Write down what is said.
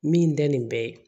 Min da nin bɛ